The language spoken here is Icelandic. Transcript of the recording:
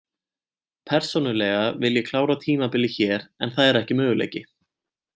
Persónulega vil ég klára tímabilið hér en það er ekki möguleiki.